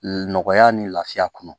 Nɔgɔya ni lafiya kɔnɔ